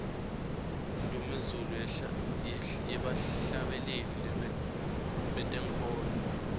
indnumezulu yebahlabeleli bentenkholo